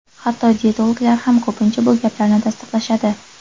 Hatto diyetologlar ham ko‘pincha bu gaplarni tasdiqlashadi.